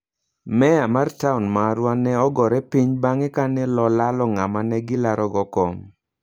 Meya mar taon marwa ne ogore piny bang'e kane lolalo ng'ama ne gi larogo kom.